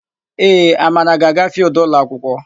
Ee, Amara ga-aga fịịldụ ụlọakwụkwọ.